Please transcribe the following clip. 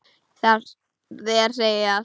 Þér segi ég allt.